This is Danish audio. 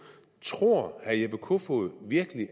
tror herre jeppe kofod virkelig